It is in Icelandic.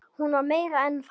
Hún var meira en það.